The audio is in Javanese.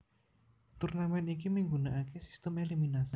Turnamen iki migunakaké sistem eliminasi